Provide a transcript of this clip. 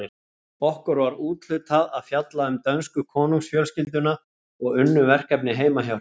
Okkur var úthlutað að fjalla um dönsku konungsfjölskylduna og unnum verkefnið heima hjá Hrönn.